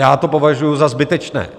Já to považuji za zbytečné.